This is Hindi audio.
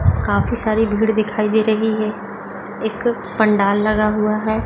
काफी सारी भीड़ दिखाई दे रही है एक पंडाल लगा हुआ है।